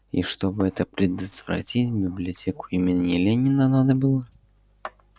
и чтобы это предотвратить библиотеку имени ленина надо было